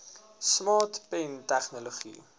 smart pen tegnologie